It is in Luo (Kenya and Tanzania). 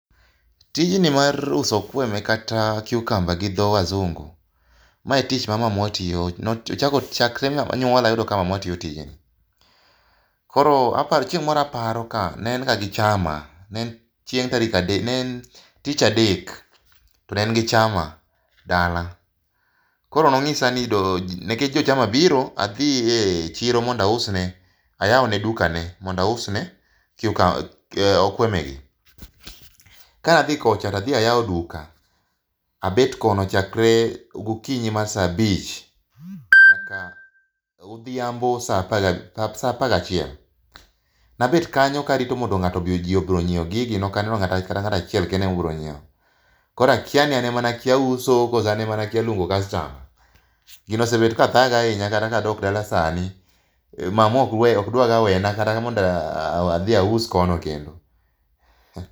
Tijni mar uso okweme kata cucumber gi dho wazungu, mae tich ma mamwa tiyo, nochako chakre nyuola ayudo ka mamwa tiyo tijni. Koro aparo, chieng' moro aparo ka ne en ga gi chama, ne en tich adek, to ne en gi chama dala. Koro nong'isa ni, nikech jochama biro.,adhiye chiro mondo ausne ,ayawne dukane mondo ausne okwemegi. Ka adhi kocha to adhi ayawo duka, abet kono chakre gokinyi mar sa abich nyaka odhiambo sa apagachiel. Nabet kanyo karito ji obi onyiew gigi, nokaneno kata ng'ato achiel kende mobiro nyiewo. Koro akia ni an ema nakia uso kose an ema nakia luongo kastama. Gino osebet ka thaga ahinya kata kadok dala sani, mamwa ok dwaga wena mondo adhi aus kono kendo.